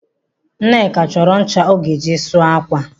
Nneka chọrọ ncha ọ ga-eji sụọ ákwà.